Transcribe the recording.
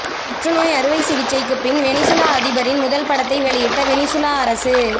புற்று நோய் அறுவைச் சிகிச்சைக்கு பின் வெனிசுலா அதிபரின் முதல் படத்தை வெளியிட்ட வெனிசுலா அரசு